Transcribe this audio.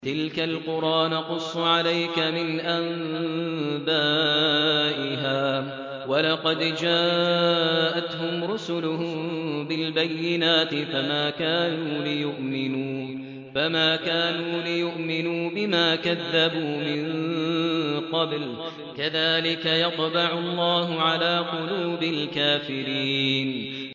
تِلْكَ الْقُرَىٰ نَقُصُّ عَلَيْكَ مِنْ أَنبَائِهَا ۚ وَلَقَدْ جَاءَتْهُمْ رُسُلُهُم بِالْبَيِّنَاتِ فَمَا كَانُوا لِيُؤْمِنُوا بِمَا كَذَّبُوا مِن قَبْلُ ۚ كَذَٰلِكَ يَطْبَعُ اللَّهُ عَلَىٰ قُلُوبِ الْكَافِرِينَ